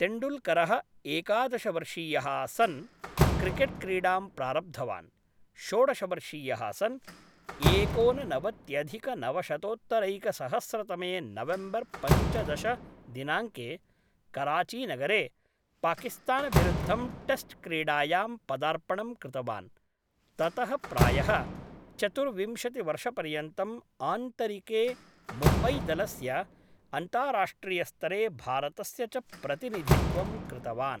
तेण्डुल्करः एकादशवर्षीयः सन् क्रिकेट्क्रीडां प्रारब्धवान्, षोडशवर्षीयः सन् एकोननवत्यधिकनवशतोत्तरैकसहस्रतमे नवेम्बर् पञ्चदश दिनाङ्के कराचीनगरे पाकिस्तानविरुद्धं टेस्ट्क्रीडायां पदार्पणं कृतवान्, ततः प्रायः चतुर्विंशतिवर्षपर्यन्तम् आन्तरिके मुम्बैदलस्य, अन्ताराष्ट्रियस्तरे भारतस्य च प्रतिनिधित्वं कृतवान्।